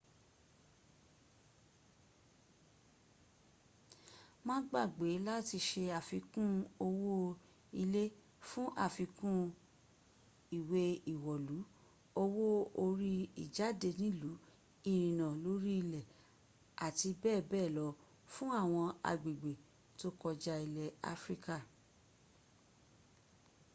má gbàgbé làti se àfikún owó ìlé fún àfikún ìwẹ́ ìwọ̀lú owó orí ìjádẹ nìlú ìrìnnà lórí ilè àti bẹ́ẹ̀bẹ́ẹ̀ lọ fún àwọn agbègbè tó kọjá ilẹ̀ áfríká